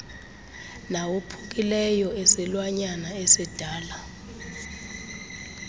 nawophukileyo esilwanyana esidala